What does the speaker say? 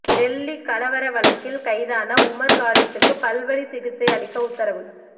டெல்லி கலவர வழக்கில் கைதான உமர் காலித்துக்கு பல்வலி சிகிச்சை அளிக்க உத்தரவு